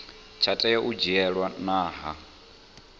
tsha tea u dzhielwa nha